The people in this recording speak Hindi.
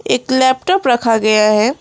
एक लैपटॉप रखा गया है।